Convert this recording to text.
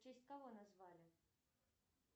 в честь кого назвали